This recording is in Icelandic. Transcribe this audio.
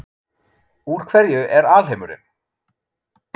Úr hverju er alheimurinn?